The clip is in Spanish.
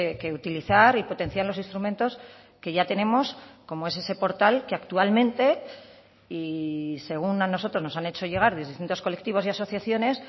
que utilizar y potenciar los instrumentos que ya tenemos como es ese portal que actualmente y según a nosotros nos han hecho llegar de distintos colectivos y asociaciones